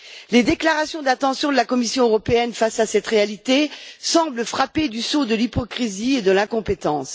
Les déclarations d'intention de la Commission européenne face à cette réalité semblent frappées du sceau de l'hypocrisie et de l'incompétence.